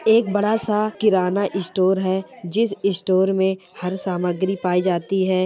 एक बड़ा-सा किराना इ स्टस स्टोर जिस स्टोर में हर सामग्री पायी जाती हैं।